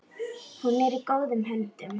Hún er í góðum höndum.